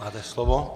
Máte slovo.